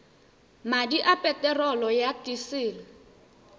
madi a peterolo ya disele